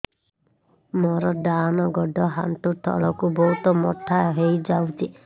ମୋର ଡାହାଣ ଗୋଡ଼ ଆଣ୍ଠୁ ତଳକୁ ବହୁତ ମୋଟା ହେଇଯାଉଛି